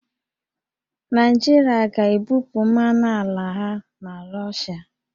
Naịjirịa ga-ebupụ mmanụ ala ha na Rọshịa